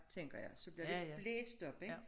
Tænker jeg så blev det blæst op ik